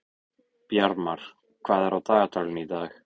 Bjarmar, hvað er á dagatalinu í dag?